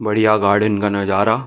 बढ़िया गार्डन का नजारा --